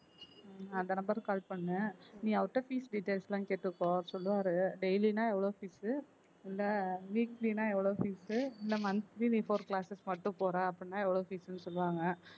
ஹம் அந்த number க்கு call பண்ணு நீ அவர்ட்ட fees details லாம் கேட்டுக்கோ அவர் சொல்லுவாரு daily ன்னா எவ்வளவு fees உ இல்லை weekly னா எவ்வளவு fees உ இல்லை monthly four classes மட்டும் போற அப்படின்னா எவ்வளவு fees னு சொல்லுவாங்க